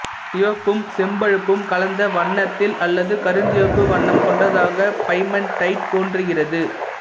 சிவப்பும் செம்பழுப்பும் கலந்த வண்ணத்தில் அல்லது கருஞ்சிவப்பு வண்ணம் கொண்டதாக பைமன்டைட்டு தோன்றுகிறது